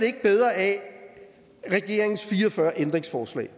ikke bedre af regeringens fire og fyrre ændringsforslag